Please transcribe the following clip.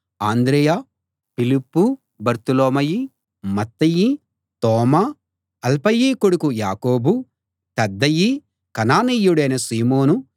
అంద్రెయ ఫిలిప్పు బర్తొలొమయి మత్తయి తోమా అల్ఫయి కొడుకు యాకోబు తద్దయి కనానీయుడైన సీమోను